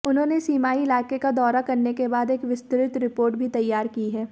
उन्होंने सीमाई इलाके का दौरा करने के बाद एक विस्तृत रिपोर्ट भी तैयार की है